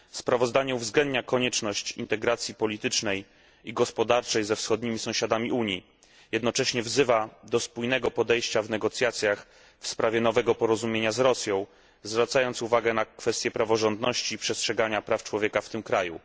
Sprawozdanie uwzględnia konieczność integracji politycznej i gospodarczej ze wschodnimi sąsiadami Unii, jednocześnie wzywa do spójnego podejścia w negocjacjach w sprawie nowego porozumienia z Rosją, zwracając uwagę na kwestie praworządności i przestrzegania praw człowieka w tym kraju.